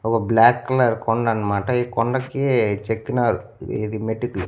ఒక black colour కొండ అనమాట ఈ కొండకి చెక్కినారు ఇది మెటికి.